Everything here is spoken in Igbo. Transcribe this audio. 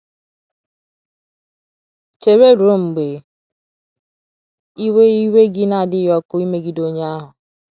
Chere ruo mgbe iwe iwe gị na - adịghị ọkụ ịmegide onye ahụ.